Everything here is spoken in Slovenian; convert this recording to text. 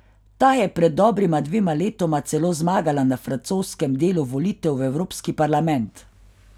Ta je pred dobrima dvema letoma celo zmagala na francoskem delu volitev v Evropski parlament.